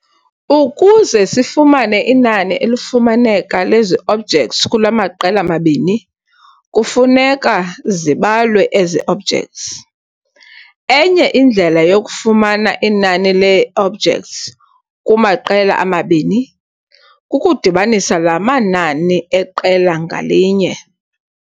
Ukuze sifumane inani elufumaneka lezi-objects kula maqela mabini, kufuneka zibalwe ezi objects. Enye indlela yokufumana inani lee-objects kumaqela omabini, kukudibanisa laa manani eqela ngalinye.